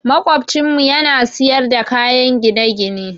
Maƙocinmu ya na siyar da kayan gine-gine.